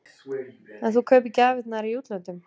Erla: En þú kaupir gjafirnar í útlöndum?